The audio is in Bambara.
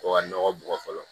Ko ka nɔgɔ bugɔ fɔlɔ